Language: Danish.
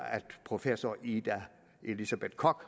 professor ida elisabeth koch